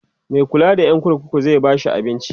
Mai kulla da Yan kurkuku zai bashi abinci?